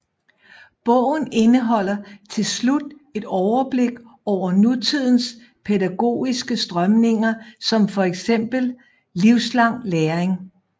Bogen indeholder til slut et overblik over nutidens pædagogiske strømninger som fx livslang læring